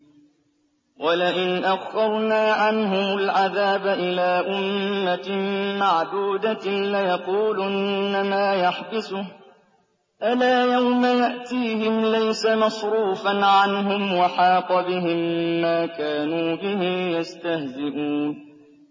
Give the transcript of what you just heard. وَلَئِنْ أَخَّرْنَا عَنْهُمُ الْعَذَابَ إِلَىٰ أُمَّةٍ مَّعْدُودَةٍ لَّيَقُولُنَّ مَا يَحْبِسُهُ ۗ أَلَا يَوْمَ يَأْتِيهِمْ لَيْسَ مَصْرُوفًا عَنْهُمْ وَحَاقَ بِهِم مَّا كَانُوا بِهِ يَسْتَهْزِئُونَ